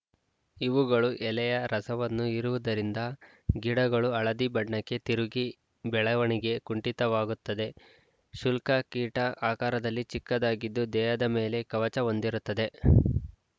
ಇವುಗಳು ಎಲೆಯ ರಸವನ್ನು ಹೀರುವುದರಿಂದ ಗಿಡಗಳು ಹಳದಿ ಬಣ್ಣಕ್ಕೆ ತಿರುಗಿ ಬೆಳವಣಿಗೆ ಕುಂಠಿತವಾಗುತ್ತದೆ ಶುಲ್ಕ ಕೀಟ ಆಕಾರದಲ್ಲಿ ಚಿಕ್ಕದಾಗಿದ್ದು ದೇಹದ ಮೇಲೆ ಕವಚ ಹೊಂದಿರುತ್ತದೆ